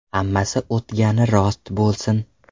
Hammasi o‘tgani rost bo‘lsin.